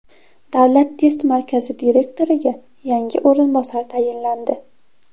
Davlat test markazi direktoriga yangi o‘rinbosar tayinlandi.